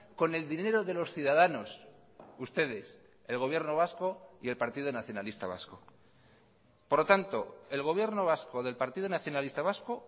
con el dinero de los ciudadanos ustedes el gobierno vasco y el partido nacionalista vasco por lo tanto el gobierno vasco del partido nacionalista vasco